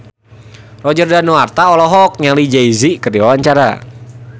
Roger Danuarta olohok ningali Jay Z keur diwawancara